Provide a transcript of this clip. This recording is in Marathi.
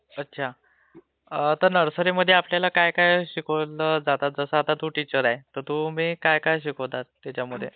अच्छा, आता नर्सरीमध्ये आपल्याला काय काय शिकवलं जातं, जसं आता तू टीचर आहे, तर तुम्ही काय काय शिकवतात त्याच्यमध्ये..